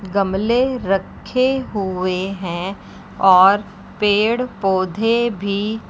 गमले रखे हुए है और पेड़ पौधे भी--